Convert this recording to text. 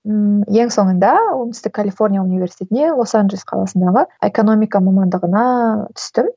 ммм ең соңында оңтүстік калифорния университетіне лос анжелес қаласындағы экономика мамандығына түстім